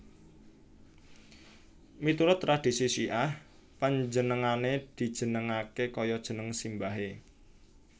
Miturut tradhisi Syiah panjenengane dijenengake kaya jeneng simbahe